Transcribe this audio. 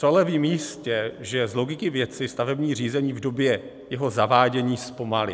Co ale vím jistě, že z logiky věci stavební řízení v době jeho zavádění zpomalí.